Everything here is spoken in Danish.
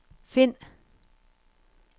find